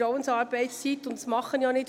Das werde ich auch nicht tun.